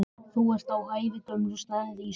Þú ert á ævagömlum stað Ísbjörg